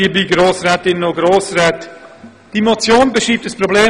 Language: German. Diese Motion beschreibt ein zentrales Problem.